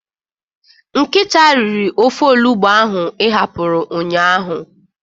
Nkịta riri ofe olugbu ahụ ị hapụrụ ụnyaahụ.